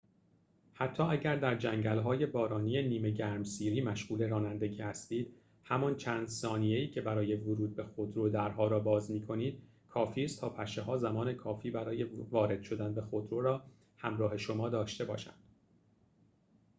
حتی اگر در جنگل‌های بارانی نیمه گرمسیری مشغول رانندگی هستید همان چند ثانیه‌ای که برای ورود به خودرو درها را باز می‌کنید کافیست تا پشه‌ها زمان کافی برای وارد شدن به خودرو را همراه شما داشته باشند